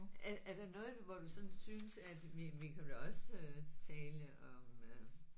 Er er noget hvor du sådan synes at vi vi kan da også tale om